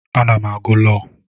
Ana m agụ Iwu.